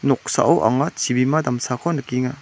noksao anga chibima damsako nikenga.